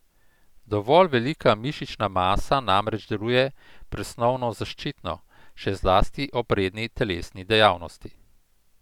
Dovolj velika mišična masa namreč deluje presnovno zaščitno, še zlasti ob redni telesni dejavnosti.